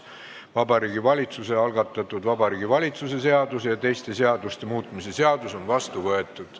Vabariigi Valitsuse algatatud Vabariigi Valitsuse seaduse ja teiste seaduste muutmise seadus on vastu võetud.